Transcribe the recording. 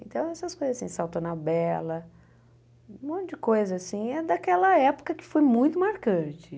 Então, essas coisas assim, salto ana bela, um monte de coisa assim, é daquela época que foi muito marcante.